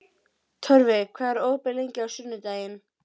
Mamma færði Kötu úr kápunni og þvoði henni í framan.